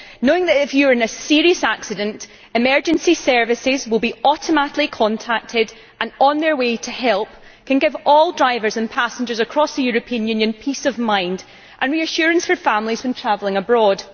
Knowing that, if you are in a serious accident, emergency services will be automatically contacted and on their way to help can give all drivers and passengers across the European Union peace of mind and reassurance for families when travelling abroad.